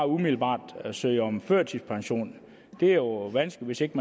umiddelbart søge om førtidspension det er jo vanskeligt